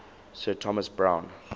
sir thomas browne